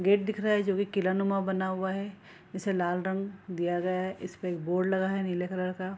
Gate दिख रहा है जो भी किलानुमा बना हुआ है जिसे लाल रंग दिया जाय इस पे एक बोर्ड लगा है नीले कलर का।